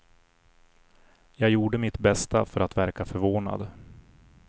Jag gjorde mitt bästa för att verka förvånad.